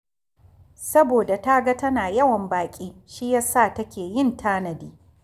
Saboda ta ga tana yawan baƙi shi ya sa take yin tanadi